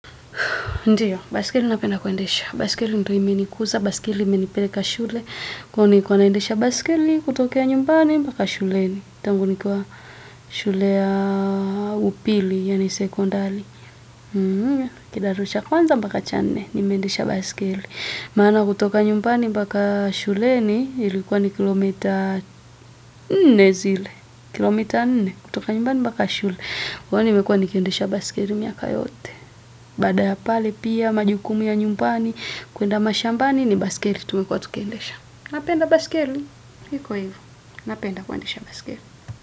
Ndiyo, baiskeli napenda kuendesha. Baiskeli ndio imenikuza, baiskeli imenipeleka shule. Na nilikuwa naendesha baiskeli, kutokea nyumbani mpaka shuleni. Tangu nikiwa shule ya upili, yaani sekondari. Kidato cha kwanza mpaka cha nne, nimeendesha baiskeli. Maana kutoka nyumbani mpaka shuleni, ilikuwa ni kilomita nne zile. Kilomita nne, kutoka nyumbani mpaka shule. Kwani imekuwa nikiendisha baiskeli miaka yote. Baada ya pale pia, majukumu ya nyumbani, kuenda mashambani ni baiskeli tulikuwa tukiendesha. Napenda baiskeli iko hivo. Napenda kuendesha baiskeli.